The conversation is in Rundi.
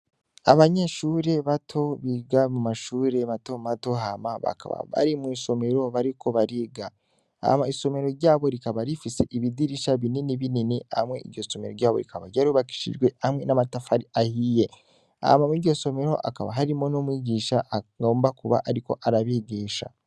Abanyeshure batobiga mu mashure matomatohama bakaba bari mw'isomero bariko bariga ama isomero ryabo rikaba rifise ibidirisha binini binini hamwe iryosomero ryabo rikaba ryarubakishijwe hamwe n'amatafari ahiye hama mw'iryosomero akaba harimo no mwigisha agomba kuba, ariko arabigisha.